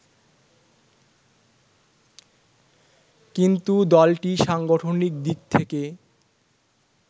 কিন্তু দলটি সাংগঠনিক দিক থেকে